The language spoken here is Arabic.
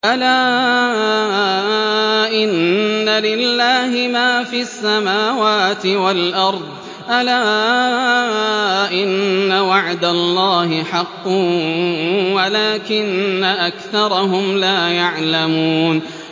أَلَا إِنَّ لِلَّهِ مَا فِي السَّمَاوَاتِ وَالْأَرْضِ ۗ أَلَا إِنَّ وَعْدَ اللَّهِ حَقٌّ وَلَٰكِنَّ أَكْثَرَهُمْ لَا يَعْلَمُونَ